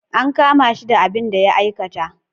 An kama shi da abin da ya aikata.